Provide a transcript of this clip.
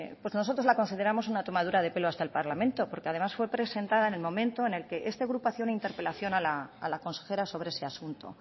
nosotros la consideramos una tomadura de pelo a este parlamento porque además fue presentada en el momento en que este agrupación hizo interpelación a la consejera sobre ese asunto